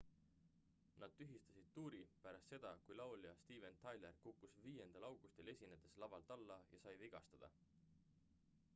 nad tühistasid tuuri pärast seda kui laulja steven tyler kukkus 5 augustil esinedes lavalt alla ja sai vigastada